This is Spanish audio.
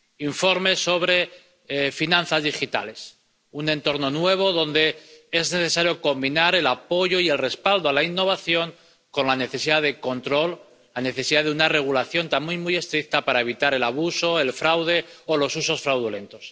Informe sobre finanzas digitales un entorno nuevo donde es necesario combinar el apoyo y el respaldo a la innovación con la necesidad de control, la necesidad de una regulación también muy estricta para evitar el abuso, el fraude o los usos fraudulentos.